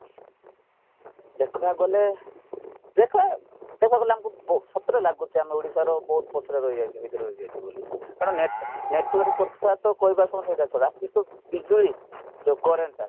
ଦେଖିବାକୁ ଗଲେ ଦେଖ ଦେଖାଗଲେ ଆମକୁ ସତରେ ଲାଗୁଚି ଆମେ ଓଡିଶାର ବହୁତ ପଛରେ ରହିଯାଇଛୁ ଭିତରେ ରହିଯାଇଛୁ ବୋଲି କାରଣ network କଥାତ କହିବାସମୟରେ ଛାଡ at least ତ ବିଜୁଳି ଯୋଉ currentଟା